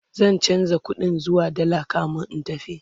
zan chanza ƙuɗin zuwa dalla kamin in tafi